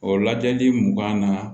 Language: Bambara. O lajɛli mugan na